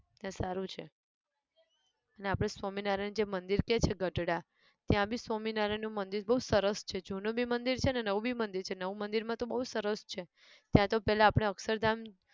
ત્યાં સારું છે. ને આપણે સ્વામિનારાયણ જે મંદિર કહીએ છે ગઢડા, ત્યાં બી સ્વામિનારાયણ નું મંદિર બઉ સરસ છે જૂનું બી મંદિર છે ને નવું બી મંદિર છે નવું મંદિર માં તો બઉ સરસ છે ત્યાં તો પેલા આપણે અક્ષરધામ